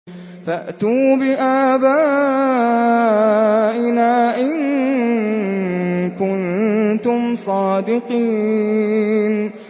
فَأْتُوا بِآبَائِنَا إِن كُنتُمْ صَادِقِينَ